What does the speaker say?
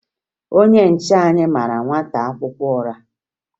Onye nche anyị mara nwata akwụkwọ ụra